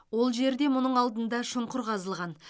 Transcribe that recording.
ол жерде мұның алдында шұңқыр қазылған